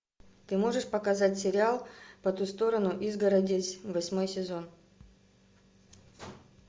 ты можешь показать сериал по ту сторону изгороди восьмой сезон